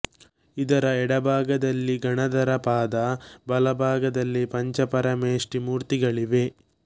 ಇದರ ಎಡ ಭಾಗದಲ್ಲಿ ಗಣಧರ ಪಾದ ಬಲ ಭಾಗದಲ್ಲಿ ಪಂಚಪರಮೇಪ್ಠಿ ಮೂರ್ತಿಗಳಿವೆ